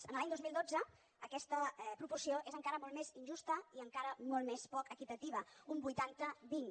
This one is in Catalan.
en l’any dos mil dotze aquesta proporció és encara molt més injusta i encara molt més poc equitativa un vuitanta vint